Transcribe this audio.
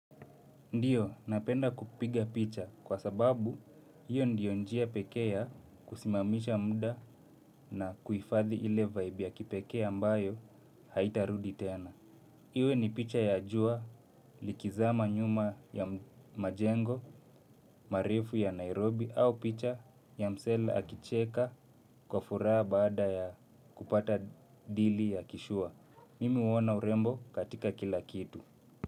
Ndiyo, napenda kupiga picha kwa sababu hiyo ndiyo njia pekee ya kusimamisha muda na kuhifadhi ile vibe ya kipekee ambayo haitarudi tena. Iwe ni picha ya jua likizama nyuma ya majengo marefu ya Nairobi, au picha ya msee akicheka kwa furaha baada ya kupata dili ya kishua. Mimi huona urembo katika kila kitu.